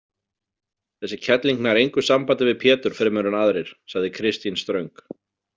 Þessi kerling nær engu sambandi við Pétur fremur en aðrir, sagði Kristín ströng.